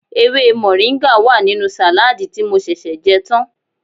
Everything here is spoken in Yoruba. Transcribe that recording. Ewé mọ̀ríńgà wà nínú sàládì tí mo ṣẹ̀ṣẹ̀ jẹ́ tán